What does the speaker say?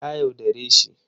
Ta yaudare shi